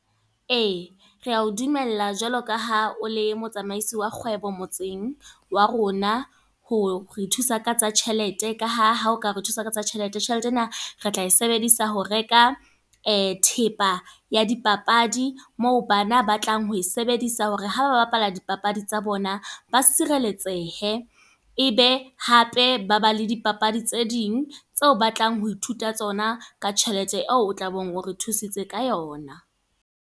Ee, re ya o dumella jwaloka ha o le motsamaisi wa kgwebo, motseng wa rona. Hore re thusa ka tsa tjhelete ka ha ha o ka re thusa ka tsa tjhelete, tjhelete e na re tla e sebedisa ho reka thepa ya di papadi. Moo bana ba tlang ho e sebedisa hore ha ba bapala dipapadi tsa bona, ba se sireletsehe. E be hape ba ba le di papadi tse ding tseo batlang ho ithuta tsona. Ka tjhelete eo, o tla be o re thusitse ka yona.